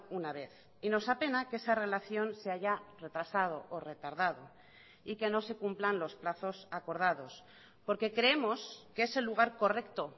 una vez y nos apena que esa relación se haya retrasado o retardado y que no se cumplan los plazos acordados porque creemos que es el lugar correcto